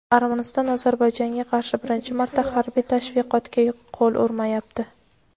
Armaniston Ozarbayjonga qarshi birinchi marta harbiy tashviqotga qo‘l urmayapti.